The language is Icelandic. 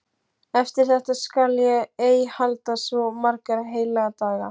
Eftir þetta skal ég ei halda svo marga heilaga daga.